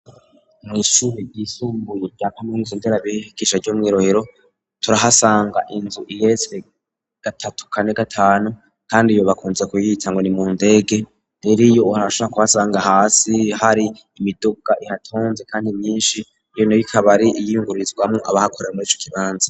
Mw'ishuri ryisumbuye rya kaminuza nderabigisha ryo mw'i Rohero, turahasanga inzu igeretse gatatu, kane, gatanu, kandi iyo bakunze kuyita ngo ni mu ndege. Rero iyo urashora kuhasanga hasi har'imiduga ihatonze kandi myinshi, iyo nayo ibikaba ari iyungururizwamwo abahakorera mur'ico kibanza.